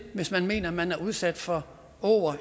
hvis man mener at man bliver udsat for åger